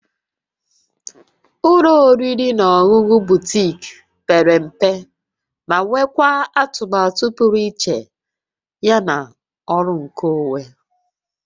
Ụlọ oriri na ọṅụṅụ Butiik pere mpe ma nwekwaa atụmatụ pụrụ iche ya na ọrụ nkeonwe